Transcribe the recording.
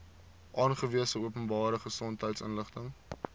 aangewese openbare gesondheidsinstelling